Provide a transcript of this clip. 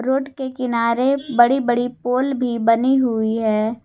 Road के किनारे बड़ी बड़ी पोल भी बनी हुई है।